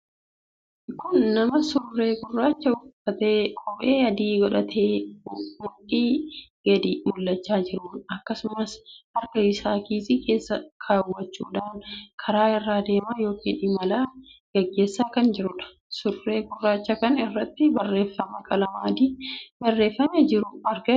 Kun nama surree gurraacha uffatee kophee adii kaawwatee mudhii gadi mul'achaa jirudha. akkasumas harka isaa kiisii keessa kaawwachudhaan karaa irra adeemaa ykn imala geggeessaa kan jirudha. surree gurraacha kan irratti barreeffamaa qalama adiin barreeffamee jiru argaa jirra.